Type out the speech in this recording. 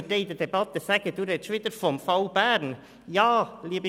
In der Debatte wird wohl gesagt werden, ich würde wieder vom Fall Bern sprechen: